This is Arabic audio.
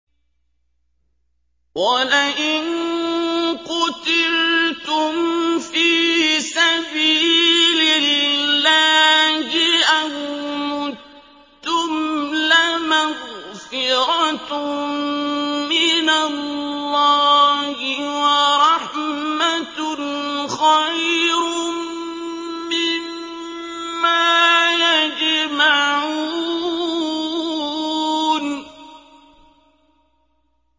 وَلَئِن قُتِلْتُمْ فِي سَبِيلِ اللَّهِ أَوْ مُتُّمْ لَمَغْفِرَةٌ مِّنَ اللَّهِ وَرَحْمَةٌ خَيْرٌ مِّمَّا يَجْمَعُونَ